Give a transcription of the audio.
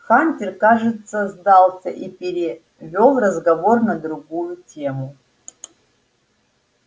хантер кажется сдался и перевёл разговор на другую тему